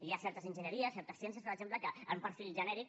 hi ha certes enginyeries certes ciències per exemple que amb un perfil genèric